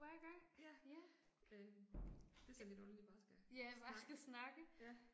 Ja. Øh. Det er sådan lidt underligt bare at skal snakke. Ja